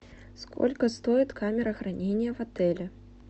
сколько стоит камера хранения в отеле